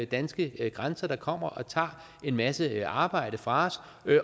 danske grænser der kommer og tager en masse arbejde fra os